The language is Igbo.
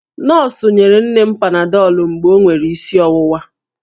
Nọọsụ nyere nne m panadọlụ mgbe o nwere isi ọwụwa